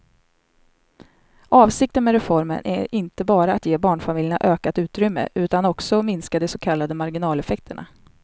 Avsikten med reformen är inte bara att ge barnfamiljerna ökat utrymme utan också minska de så kallade marginaleffekterna.